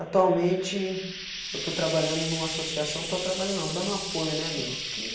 Atualmente eu estou trabalhando em uma associação, estou trabalhando não, dando apoio né, meu. Que